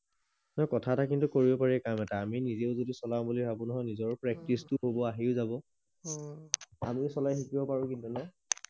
অই কথা এটা কিন্তু কৰিব পাৰি কাম এটা আমি নিজেও যদি চলাম বুলি ভাবো নহয় নিজৰ প্ৰেক্টিচটো হব আহিও যাব অ আমি চলাই শিকিব পাৰি কিন্তু ন